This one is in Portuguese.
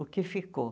O que ficou?